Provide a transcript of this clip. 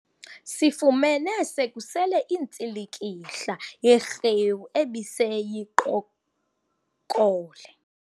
Sifumene sekusele intsilikihla yerhewu ebiseyiqokole.